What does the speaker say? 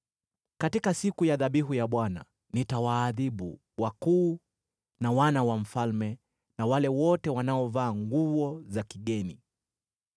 Katika siku ya dhabihu ya Bwana nitawaadhibu wakuu na wana wa mfalme na wale wote wanaovaa nguo za kigeni.